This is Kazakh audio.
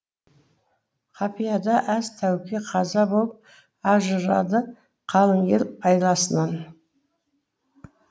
қапияда әз тәуке қаза болып ажырады қалың ел айласынан